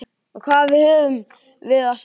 Og hvað höfum við að selja?